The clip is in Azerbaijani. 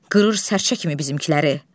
Qırır sərçə kimi bizimkiləri.